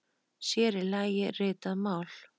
Sér í lagi ritað mál.